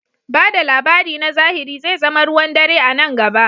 Ba da labari na zahiri zai zama ruwan dare a nan gaba.